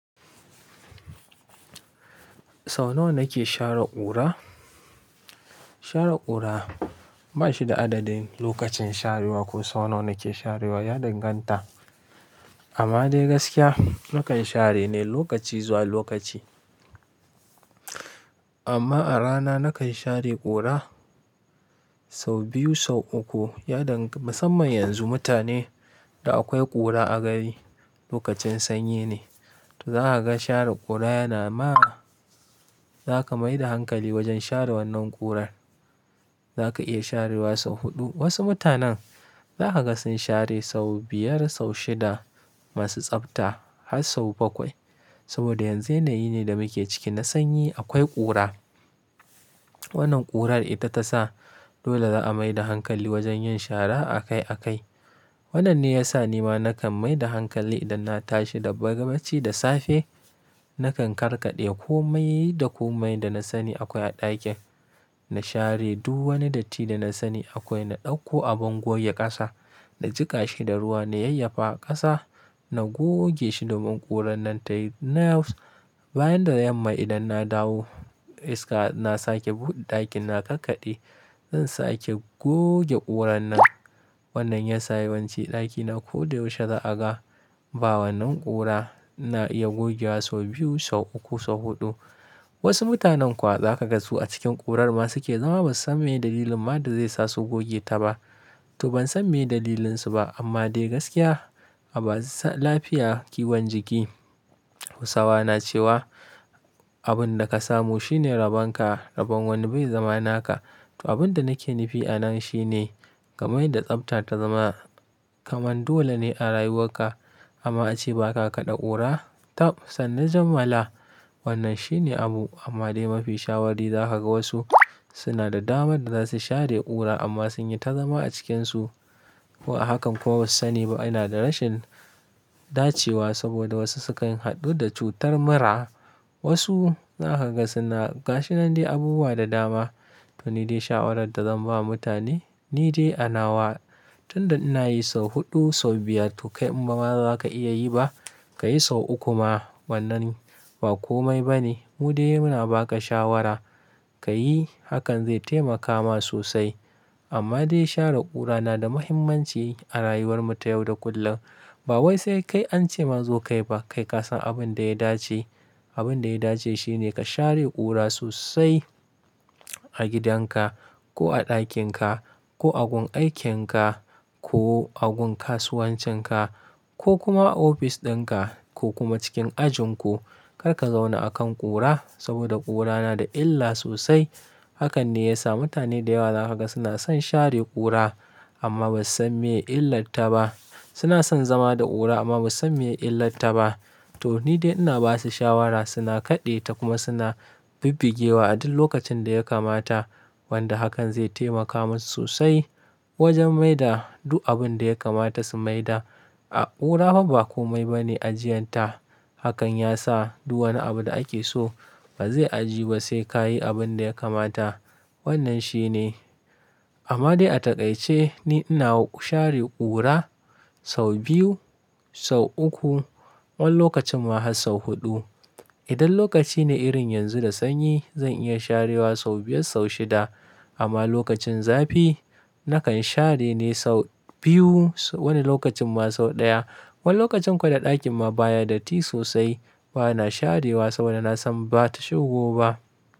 Sau nawa nake share ƙura? Share ƙura ba shi da adadin lokacin sharewa ko sau nawa nake sharewa, ya danganta. Amma dai gaskiya, nakan share ne lokaci zuwa lokaci. Amma a rana nakan share ƙura sau biyu, sau uku. Ya dang-- musamman yanzu mutane da akwai ƙura a gari lokacin sanyi ne. To za ka ga share ƙura yana ma-- za ka mai da hankali wajen share wannan ƙurar. Za ka iya sharewa sau huɗu. Wasu mutanen za ka ga sun share sau biyar, sau shida, masu tsafta har sau bakwai. Saboda yanzu yanayi ne da muke ciki na sanyi, akwai ƙura. Wannan ƙurar ita ta sa dole za'a mai da hankali wajen yin shara a kai a kai. Wannan ne ya sa ni ma nakan mai da hankali idan na tashi da bacci da safe, nakan karkaɗe komai da komai da na sani akwai a ɗakin. Na share duk wani datti da na sani akwai. Na ɗauko abin goge ƙasa, na jiƙa shi da ruwa, na yayyafa ƙasa, na goge shi domin ƙurar nan tayi. Na bayan da yamma idan na dawo, iska na sake buɗe ɗakin na karkade, zan sake goge ƙurar nan. Wannan ya sa yawanci ɗakina ko da yaushe za'a ga, ba wannan ƙura na iya goge wa sau biyu, sau uku, sau huɗu. Wasu mutanen kuwa za ka ga su a cikin ƙurar ma suke zama ba su san me dalilin ma da zai sa su goge ta ba. To ban san me dalilinsu ba, amma dai gaskiya, a ba lafiya kiwon jiki. Hausawa na cewa "abun da ka samu shine raban ka, raban wani bai zama naka". To abin da nake nufi a nan shi ne, ka mai da tsafta ta zama kamar dole ne a rayuwarka. Amma ace ba ka kaɗa ƙura, tab sannu jamala. Wannan shi ne abu. Amma dai mafi shawari za ka ga wasu suna da dama da za su share ƙura amma sun yi ta zama a cikinsu. Ko a hakan kuwa, ba su sani ba. Ina da rashin dacewa saboda wasu sukan haɗu da cutar mura. Wasu za ka ga suna, ga shi nan dai abubuwa da dama. To ni dai shawarar da zan ba mutane, ni dai a nawa tun da ina yi sau huɗu, sau biyar to kai kuma in ma ba za ka iya yi ba, ka yi sau uku ma. Wannan ba komai ba ne. Mu dai muna ba ka shawara ka yi, hakan zai taimaka ma sosai. Amma dai share ƙura na da muhimmanci a rayuwar mu ta yau da kullum. Ba wai sai kai an ce mazo kai ba kai ka san abin da ya dace. Abin da ya dace shi ne ka share ƙura sosai a gidanka ko a ɗakin ka, ko a gun aikin ka, ko a gun kasuwancin ka, ko kuma a ofis ɗin ka, ko kuma cikin ajin ku. Kar ka zauna a kan ƙura saboda ƙura na da illa sosai. Hakan ne ya sa mutane da yawa za ka ga suna son share ƙura amma ba su san me illar ta ba. Suna son zama da ƙura amma ba su san me illar ta ba. To ni dai ina ba su shawara suna kaɗe ta kuma suna bibbigewa a duk lokacin da ya kamata. Wanda hakan zai taimaka musu sosai, wajen mai da duk abin da ya kamata su mai da. Ƙura fa ba komai ba ne ajiyan ta. Hakan ya sa duk wani abu da ake so, ba zai ajiyu ba sai ka yi abin da ya kamata. Wannan shi ne. Amma dai a taƙaice ni ina share ƙura sau biyu, sau uku. Wani lokacin ma har sau huɗu. Idan lokaci ne irin yanzu da sanyi, zan iya sharewa sau biyar, sau shida. Amma lokacin zafi nakan share ne sau biyu. Wani lokacin ma sau ɗaya. Wani lokacin kuwa da ɗakin ma baya datti sosai, bana sharewa saboda na san ba ta shigo ba.